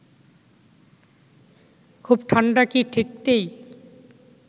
খুব ঠান্ডা কি ঠেকতেই